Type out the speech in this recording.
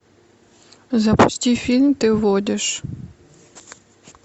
запусти фильм ты водишь